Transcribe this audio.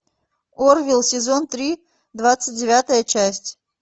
орвилл сезон три двадцать девятая часть